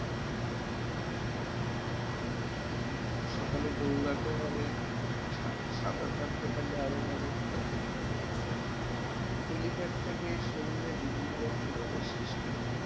সকালে দৌড়াতে হবে, সাঁতার কাটতে পারলে আরও ভালো। belly fat থেকে শরীরে বিভিন্ন রকম রোগের সৃষ্টি হয় ।